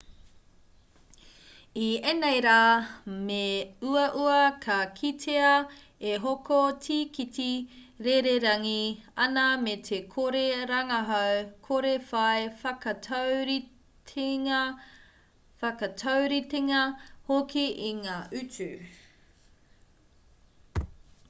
i ēnei rā me uaua ka kitea e hoko tīkiti rererangi ana me te kore rangahau kore whai whakatauritenga hoki i ngā utu